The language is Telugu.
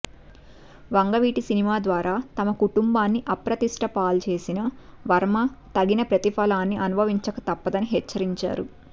వంగవీటి సినిమా ద్వారా తమ కుటుంబాన్ని అప్రతిష్టపాల్జేసిన వర్మ తగిన ప్రతిఫలాన్ని అనుభవించక తప్పదని హెచ్చరించారు